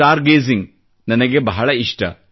star gazing ನನಗೆ ಬಹಳ ಇಷ್ಟ